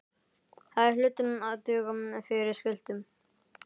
Þær hlutu að duga fyrir skutlu.